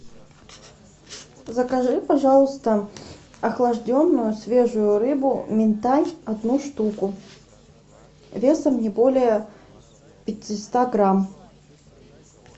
закажи пожалуйста охлажденную свежую рыбу минтай одну штуку весом не более пятиста грамм